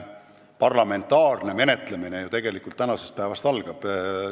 Parlamentaarne menetlemine ju tegelikult tänasest päevast algab.